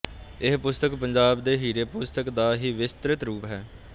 ਇਹ ਪੁਸਤਕ ਪੰਜਾਬ ਦੇ ਹੀਰੇ ਪੁਸਤਕ ਦਾ ਹੀ ਵਿਸਤ੍ਰਿਤ ਰੂਪ ਹੈ